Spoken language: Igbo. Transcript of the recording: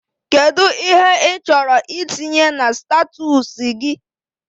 Kedụ ihe ị chọrọ itinye na statọsi gị?